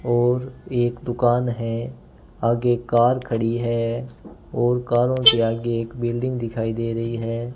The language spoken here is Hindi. और एक दुकान है आगे कार खड़ी है और कारो के आगे एक बिल्डिंग दिखाई दे रही है।